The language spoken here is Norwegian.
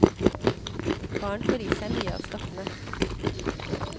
Barn får i seg mye av stoffene.